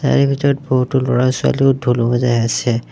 তাৰে ভিতৰত বহুতো ল'ৰা ছোৱালীও ঢোল বজাই আছে।